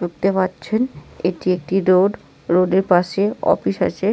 ঢুকতে পারছেন এটি একটি রোড রোডের পাশে অফিস আছে